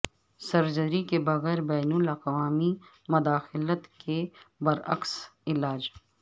surgery کے بغیر بین الاقوامی مداخلت کے برعکس علاج